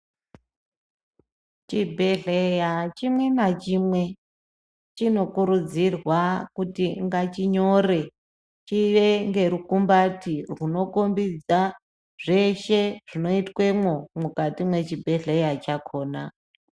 Chibhedhera chimwe nachimwe chinokurudzirwa kuti ngachinyore, chiye ngerukumbati rwunokombidza zveshe zvinoitwemo mukati mechibhedhlera chakhona.